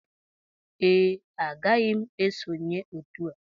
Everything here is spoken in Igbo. Ee agaghị m esonyere otu a